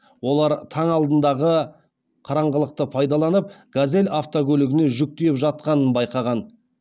олар таң алдындағы қараңғылықты пайдаланып газель автокөлігіне жүк тиеп жатқанын байқаған